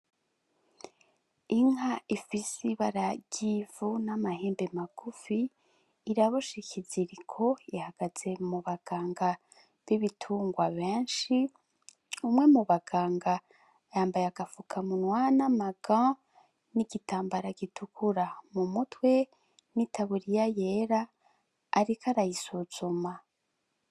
Inka ifise ibara ry'ivu n'amahembe magufi, iraboshe ikiziriko ihagaze mu baganga b'ibitungwa benshi, umwe mu baganga yambaye agafukamunwa n'amaga n’igitambara gitukura mu mutwe n'itaburiya yera ariko arayisuzuma.